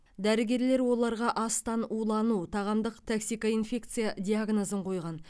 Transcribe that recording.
дәрігерлер оларға астан улану тағамдық токсикоинфекция диагнозын қойған